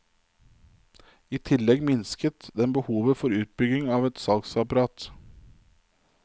I tillegg minsket den behovet for utbygging av et salgsapparat.